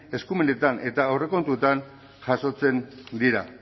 eskumenetan eta aurrekontuetan jasotzen dira